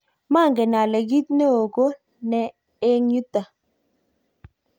manget ale kiit neoo ko ne eng yuto